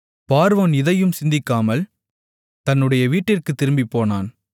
பார்வோன் இதையும் சிந்திக்காமல் தன்னுடைய வீட்டிற்குத் திரும்பிப்போனான்